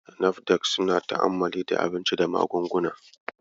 NAFDAC suna ta'ammali da abinci da magunguna.